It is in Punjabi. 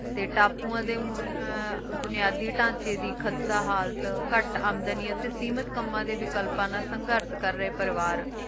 ਤੇ ਟਾਪੂਆਂ ਦੇ ਬੁਨ~ ਬੁਨਿਆਦੇ ਢਾਂਚੇ ਦੀ ਖਸਤਾ ਹਾਲਤ ਘੱਟ ਆਮਦਨੀ ਤੇ ਸੀਮਿਤ ਕੰਮਾਂ ਦੇ ਵਿਕਲਪਾਂ ਨਾਲ ਸੰਘਰਸ਼ ਨਾਲ ਕਰ ਰਹੇ ਪਰਿਵਾਰ